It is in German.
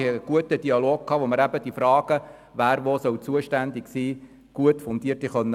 Wir haben einen guten Dialog geführt, indem wir die Fragen betreffend die Zuständigkeiten gut und fundiert lösen konnten.